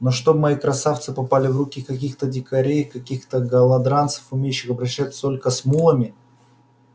но чтоб мои красавцы попали в руки каких-то дикарей каких-то голодранцев умеющих обращаться только с мулами